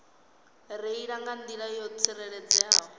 reila nga nḓila yo tsireledzeaho